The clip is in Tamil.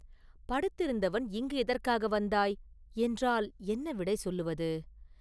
“படுத்திருந்தவன் இங்கு எதற்காக வந்தாய்?” என்றால் என்ன விடை சொல்லுவது?